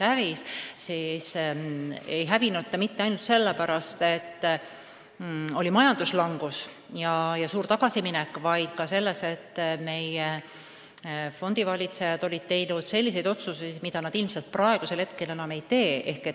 Aga see ei hävinud mitte ainult selle pärast, et oli majanduslangus ja suur tagasiminek, vaid ka sellepärast, et meie fondivalitsejad olid teinud otsuseid, mida nad praegu enam ei tee.